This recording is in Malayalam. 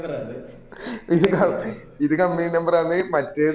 ഇത് കം ഇത് company number ആന്ന് മറ്റേത്